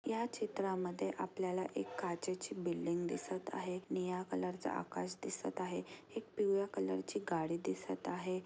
या चित्रा मध्ये आपल्याला एक काचेची बिल्डिंग दिसत आहे निळ्या कलर च आकाश दिसत आहे एक पिवळ्या कलर ची गाडी दिसत आहे.